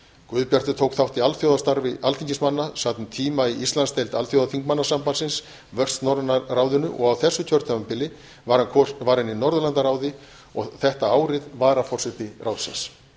guðbjartur tók þátt í alþjóðastarfi alþingismanna sat um tíma í íslandsdeild alþjóðaþingmannasambandsins vestnorræna ráðinu og á þessu kjörtímabili var hann í norðurlandaráði og þetta árið varaforseti ráðsins